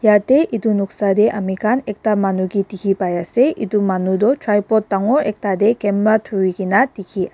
jatte etu noksa te ame khan ekta manu ke dekhi pai ase etu manu tu tripot dagur ekta ke kinba thori kina dekhi--